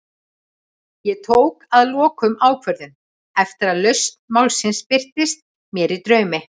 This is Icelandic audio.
Ég tók að lokum ákvörðun, eftir að lausn málsins birtist mér í draumi.